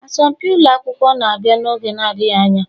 Asọmpi ụlọ akwụkwọ na-abịa n'oge adịghị anya.